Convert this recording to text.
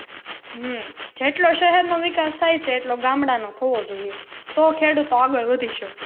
હમ જેટલો શહેર નો વિકાસ થાય છે એટલો ગામડાં નો થવો જોઈએ તો ખેડૂતો આગળ શકે.